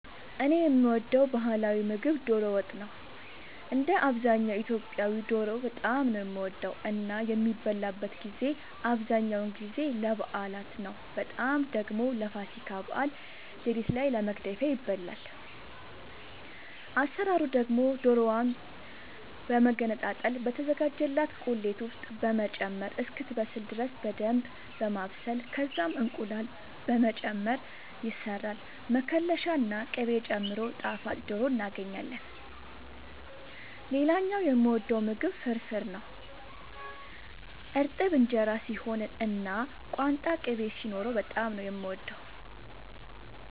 እኔ የምወደው ባህላዊ ምግብ ዶሮ ወጥ ነው። እንደ አብዛኛው ኢትዮጵያዊ ዶሮ በጣም ነው የምወደው እና የሚበላበትን ጊዜ አብዛኛውን ጊዜ ለበዓላት ነው በጣም ደግሞ ለፋሲካ በዓል ሌሊት ላይ ለመግደፊያ ይበላል። አሰራሩ ደግሞ ዶሮዋን በመገነጣጠል በተዘጋጀላት ቁሌት ውስጥ በመጨመር እስክትበስል ድረስ በደንብ በማብሰል ከዛም እንቁላል በመጨመር ይሰራል መከለሻ ና ቅቤ ጨምሮ ጣፋጭ ዶሮ እናገኛለን። ሌላኛው የምወደው ምግብ ፍርፍር ነው። እርጥብ እንጀራ ሲሆን እና ቋንጣ ቅቤ ሲኖረው በጣም ነው የምወደው።